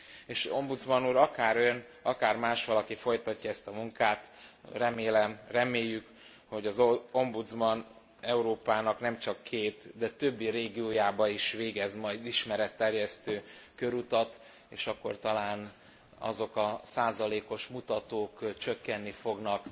És ombudsman úr, akár Ön, akár másvalaki folytatja ezt a munkát, remélem, reméljük, hogy az ombudsman Európának nem csak két, de többi régiójába is végez majd ismeretterjesztő körutat, és akkor talán azok a százalékos mutatók csökkenni fognak.